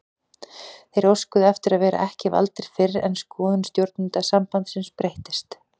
Þeir óskuðu eftir að vera ekki valdir fyrr en skoðun stjórnenda sambandsins breyttist.